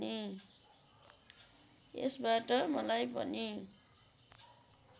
यसबाट मलाई पनि